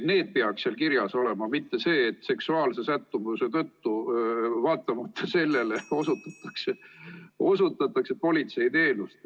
See peaks seal kirjas olema, mitte see, et seksuaalse sättumuse tõttu või sellele vaatamata osutatakse politseiteenust.